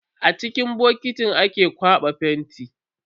A ciki bokitin ake kwana fenti.